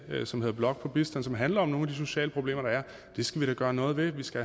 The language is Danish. dr som hedder blok på bistand som handler om nogle af de sociale problemer der er det skal vi da gøre noget ved vi skal